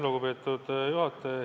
Lugupeetud juhataja!